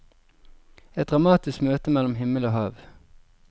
Et dramatisk møte mellom himmel og hav.